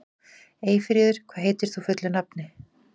Eyfríður, hvað heitir þú fullu nafni?